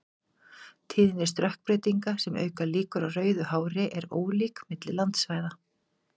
Tíðni stökkbreytinga sem auka líkur á rauðu hári er ólík milli landsvæða.